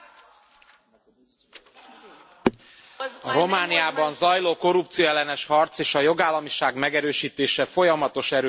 Elnök Úr! A Romániában zajló korrupcióellenes harc és a jogállamiság megerősítése folyamatos erőfeszítéseket igényel.